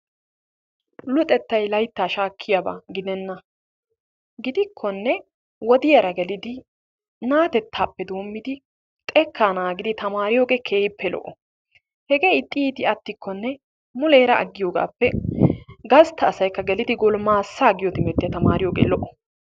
Luxettay layttaa shaakiyaba gidenna. gidikonne wodiyaara gelidi na'atettaappe doommidi xekkaa naagidi taamariyoogee keehippe lo"o. hegee ixxi iiti mulleera attiyoogappe gastta asaykka gelidi golimmaasaa giyoo timirttiyaa tamariyoogee lo"o.